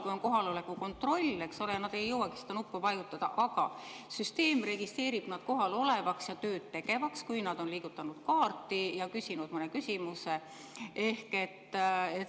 Kui on kohaloleku kontroll, eks ole, siis nad ei jõuagi seda nuppu vajutada, aga süsteem registreerib nad kohal olevaks ja tööd tegevaks, kui nad on liigutanud kaarti ja küsinud mõne küsimuse.